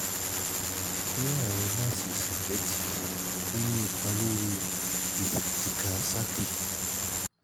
ní àárín máàsì asymmetric ò ní ipa lórí tíká saàkì